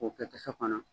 K'o kɛ kisɛ kɔnɔ